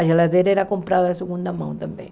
A geladeira era comprada de segunda mão também.